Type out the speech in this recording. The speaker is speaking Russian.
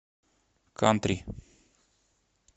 кантри